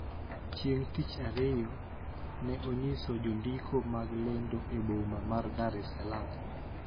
Chieng` tich Ariyo ne onyiso jondiko mag lendo e boma ma Dar es Salaam